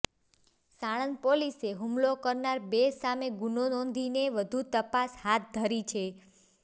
સાણંદ પોલીસે હુમલો કરનારા બે સામે ગુનો નોંધીને વધુ તપાસ હાથ ધરી છે